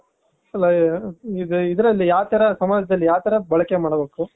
ಆ ಇದ್ರಲ್ಲಿ ಯಾವ ತರ ಸಮಾಜದಲ್ಲಿ ಯಾವ್ ತರ ಬಳಕೆ ಮಾಡ್ಬೇಕು